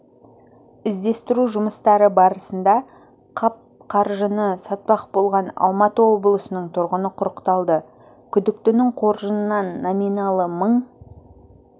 іздестіру жұмыстары барысында қап қаржыны сатпақ болған алматы облысының тұрғыны құрықталды күдіктінің қоржынынан номиналы мың